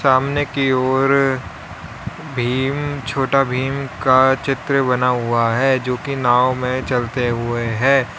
सामने की ओर भीम छोटा भीम का चित्र बना हुआ है जो की नांव में चलते हुए है।